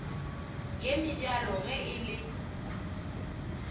ye mebjalo ge e le